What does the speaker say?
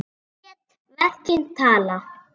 Lét verkin tala.